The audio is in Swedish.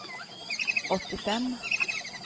åttiofem